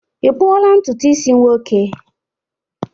i kpuola ntutu isi nwoke?